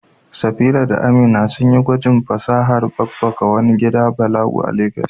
Safira da Amina sun yi gwajin fasahar babbaka a wani gidan balangu a Abuja.